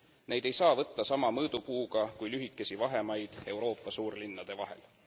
Neid ei saa võtta sama mõõdupuuga kui lühikesi vahemaid Euroopa suurlinnade vahel.